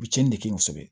U bɛ tiɲɛni ne kɛ kosɛbɛ